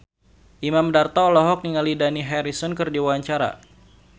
Imam Darto olohok ningali Dani Harrison keur diwawancara